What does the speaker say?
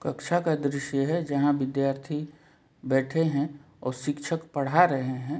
कक्षा का दृश्य है जहां विद्यार्थी बैठे हैं और शिक्षक पढ़ा रहे हैं।